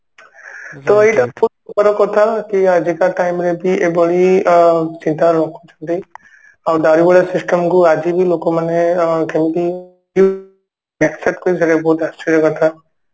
କଥା କି ଆଜିକା time ରେ କି ଏଭଳି ଅ ସେଇଟା ରଖୁଛନ୍ତି system କୁ ଆଜି ଭି ଲୋକମାନେ ଅ ସେଇଟା ବହୁତ ଆଶ୍ଚର୍ଯ୍ୟ କଥା